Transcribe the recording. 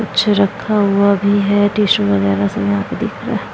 कुछ रखा हुआ भी है टिशू वैगेरा सब यहाँ पर दिख रहा --